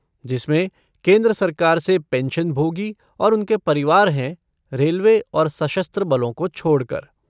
जिसमें केंद्र सरकार से पेंशनभोगी और उनके परिवार हैं, रेलवे और सशस्त्र बलों को छोड़कर ।